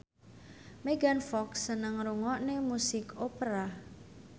Megan Fox seneng ngrungokne musik opera